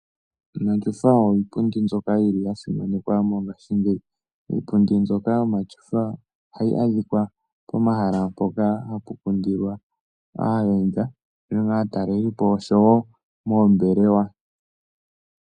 Omatyofa oyo iipundi mbyoka yi li ya simanekwa mongaashingeyi. Iipundi mbyoka yomatyofa oha yi adhikwa pomahala mpoka hapu kundilwa aayenda unene ngaa aatalelipo oshowo moombelewa.